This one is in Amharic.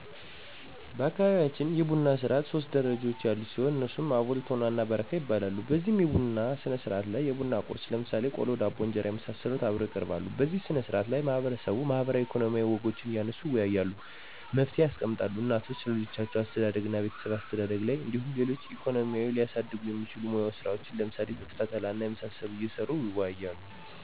በአካባቢያችን የቡና ስርዓት ሶስት ደረጃዎች ያሉት ሲሆን እነሱም አቦል፤ ቶና እና በረካ ይባላሉ። በዚህ የቡና ስነስርዓት ላይ የቡና ቁርስ ለምሳሌ ቆሎ፣ ዳቦ፣ እንጀራና የመሳሰሉት አብረው ይቀርባሉ። በዚህ ስነ ስርዓት ላይ ማህበረሰቡ ማህበራዊ፣ ኢኮኖሚያዊ ወጎችን እያነሱ ይወያያሉ፤ መፍትሔ ያስቀምጣሉ። እናቶች ስለልጆች አስተዳደግና ቤተሰብ አስተዳደር ላይ እንዲሁም ሌሎች ኢኮኖሚን ሊያሳድጉ የሚችሉ ሙያዊ ስራዎችን ለምሳሌ ጥጥ ፈተላ እና የመሳሰሉት እየሰሩ ይወያያሉ።